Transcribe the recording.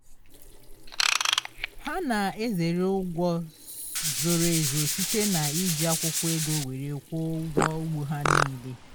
ha na-ezere ụgwọ zoro ezo site na iji akwụkwọ ego were kwụọ ụgwọ ugbo ha nile